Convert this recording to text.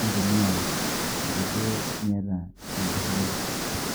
neitumiya ake duo meeta enkariyiano.